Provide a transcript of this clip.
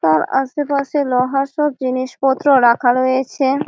তার আশেপাশে লোহার সব জিনিসপত্র রাখা রয়েছে।